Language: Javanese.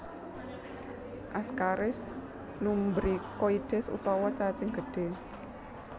Ascaris lumbricoides utawa cacing gedhé